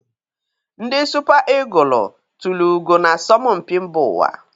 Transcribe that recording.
Ndi Supa igụlụ tulu ugo na asọmpi mba ụwa.